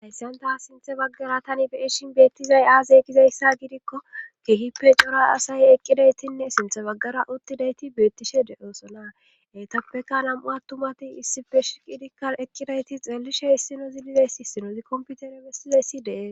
Hayssanta sinthe baggara tani beishin beettizay aase gizayssa gidikko keehippe cora asaye eqqidaytinne sinthe baggara uttidayti beettishe de'oosona etappeka nam'u attumati issife shiqidikka eqqidayti xeellishe issino zilizayssi sinozi komputere bessizayssidee